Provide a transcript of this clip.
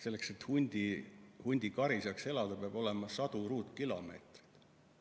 Selleks et hundikari saaks elada, peab olema sadu ruutkilomeetreid.